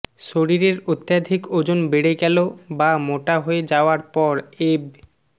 শরীরের অত্যাধিক ওজন বেড়ে গেল বা মোটা হয়ে যাওয়ার পর এব